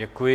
Děkuji.